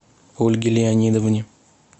ольге леонидовне